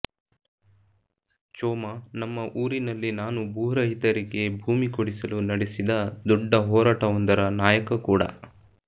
ಚೋಮ ನಮ್ಮ ಊರಿನಲ್ಲಿ ನಾನು ಭೂರಹಿತರಿಗೆ ಭೂಮಿ ಕೊಡಿಸಲು ನಡೆಸಿದ ದೊಡ್ಡ ಹೋರಾಟವೊಂದರ ನಾಯಕ ಕೂಡ